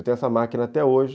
Eu tenho essa máquina até hoje.